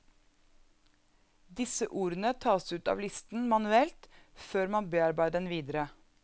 Disse ordene tas ut av listen manuelt før man bearbeider den videre.